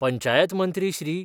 पंचायतमंत्री Shri.